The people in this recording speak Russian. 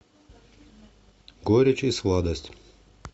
горечь и сладость